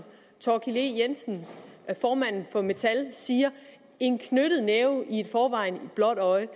thorkild e jensen formanden for dansk metal siger en knyttet næve i forvejen blåt øje